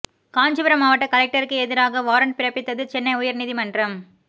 காஞ்சிபுரம் மாவட்ட கலெக்டருக்கு எதிராக வாரண்ட் பிறப்பித்தது சென்னை உயர் நீதிமன்றம்